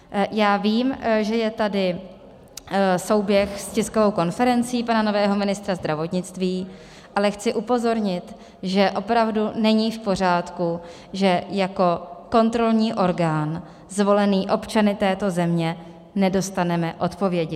Já vím, že je tady souběh s tiskovou konferencí pana nového ministra zdravotnictví, ale chci upozornit, že opravdu není v pořádku, že jako kontrolní orgán zvolený občany této země nedostaneme odpovědi.